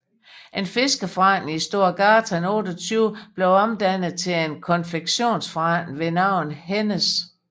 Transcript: En fiskeforretning i Stora gatan 28 blev omdannet til en konfektionsforretning ved navn Hennes